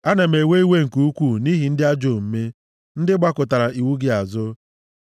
Ana m ewe iwe nke ukwu nʼihi ndị ajọ omume, ndị gbakụtara iwu gị azụ.